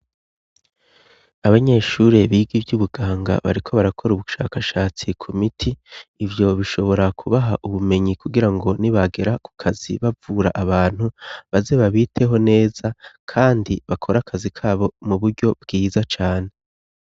Abanyeshure biga ivyo ubuganga bariko barakora ubushakashatsi ku miti ivyo bishobora kubaha ubumenyi kugira ngo ni bagera ku kazi bavura abantu baze babiteho neza, kandi bakora akazi kabo mu buryo bwiza cane.